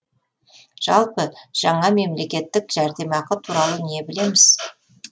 жалпы жаңа мемлекеттік жәрдемақы туралы не білеміз